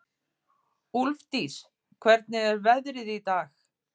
Úlfdís, hvernig er veðrið í dag?